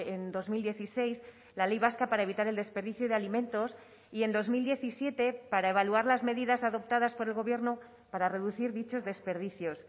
en dos mil dieciséis la ley vasca para evitar el desperdicio de alimentos y en dos mil diecisiete para evaluar las medidas adoptadas por el gobierno para reducir dichos desperdicios